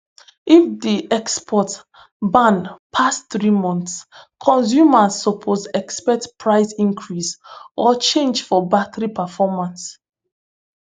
if di export ban pass three months consumers suppose expect price increase or change for battery performance